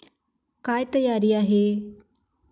काय तयारी आहे?